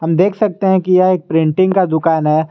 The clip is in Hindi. हम देख सकते हैं कि यह एक प्रिंटिंग का दुकान है।